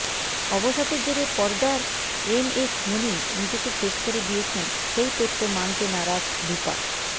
অবসাদের জেরে পর্দার M S Dhoni নিজেকে শেষ করে দিয়েছেন সেই তত্ত্ব মানতে নারাজ রূপা